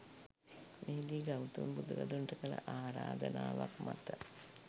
මෙහිදී ගෞතම බුදුරදුන්ට කළ ආරාධනාවක් මත